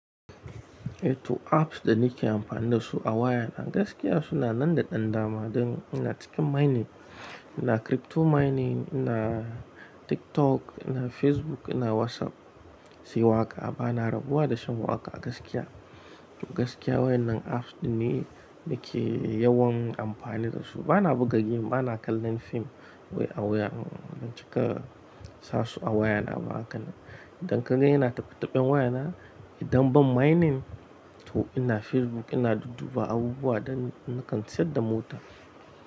Eh to apps da nake amfani da su a wayana gaskiya suna nan da ɗan dama. Don ina cikin mining, ina crypto mining, ina TikTok, ina Facebook, ina WhatsApp, sai waƙa. Bana rabuwa da shan waƙa gaskiya. Gaskiya wayan nan apps dinne nake yawan amfani da su. Bana buga game, bana kallon firm a wayana ban cika sasu a wayana ba haka ne. Don kaga ina taɓe-taɓen wayana. Don ban mining to ina Facebook ina dudduba abubuwa da nakan siyar da mota.